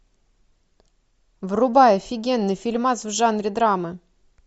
врубай офигенный фильмас в жанре драмы